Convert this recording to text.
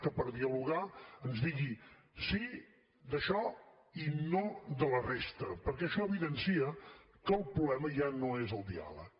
que per dialogar ens digui sí d’això i no de la resta perquè això evidencia que el problema ja no és el diàleg